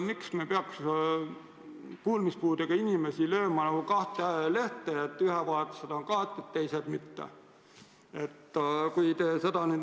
Miks me peaks kuulmispuudega inimesi lööma nagu kahte lehte, nii et ühe grupi vajadused on kaetud, teise omad mitte.